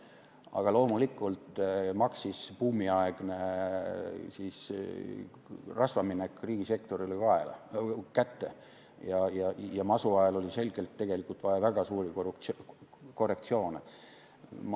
Aga loomulikult maksis buumiaegne rasvaminek riigisektorile kätte ja masu ajal oli selgelt vaja väga suuri korrektsioone.